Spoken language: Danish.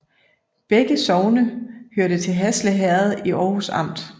Begge sogne hørte til Hasle Herred i Århus Amt